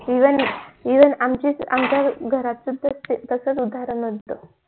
even आमच्या घरात सुद्धा तसंच उद्धरण होत.